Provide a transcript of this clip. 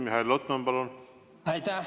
Mihhail Lotman, palun!